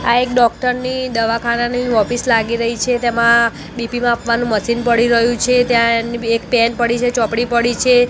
આ એક ડૉક્ટર ની દવાખાનાની ઓફિસ લાગી રહી છે તેમાં બી_પી માપવાનું મશીન પળી રહ્યું છે ત્યાં એની બી એક પેન પળી છે ચોપડી પળી છે.